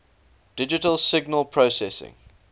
digital signal processing